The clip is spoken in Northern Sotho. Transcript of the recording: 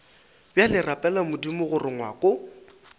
bjale rapela modimo gore ngwako